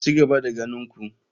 Ci gaba da ganin ku.